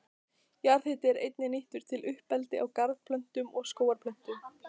Jarðhiti er einnig nýttur við uppeldi á garðplöntum og skógarplöntum.